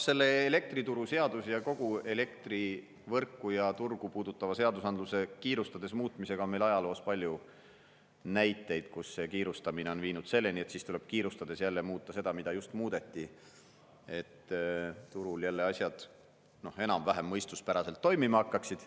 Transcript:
Selle elektrituruseadus ja kogu elektrivõrku ja turgu puudutava seadusandluse kiirustades muutmisega on meil ajaloos palju näiteid, kus see kiirustamine on viinud selleni, et siis tuleb kiirustades jälle muuta seda, mida just muudeti, et turul jälle asjad enam-vähem mõistuspäraselt toimima hakkaksid.